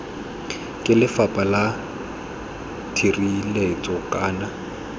ke lefapha la tshireletso kana